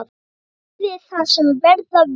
Verði það sem verða vill!